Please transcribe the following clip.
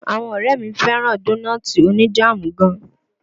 Àwọn ọ̀rẹ́ mi fẹ́ràn dónọ́ọ̀ti oní jáàmù gan.